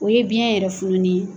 O ye biyɛn yɛrɛ fununi ye.